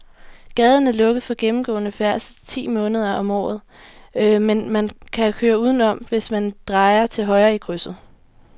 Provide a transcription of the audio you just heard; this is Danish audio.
Gaden er lukket for gennemgående færdsel ti måneder om året, men man kan køre udenom, hvis man drejer til højre i krydset.